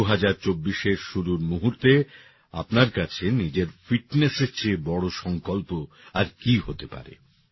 ২০২৪এর শুরুর মূহুর্তে আপনার কাছে নিজের fitnessএর চেয়ে বড় সংকল্প আর কি হতে পারে